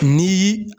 Ni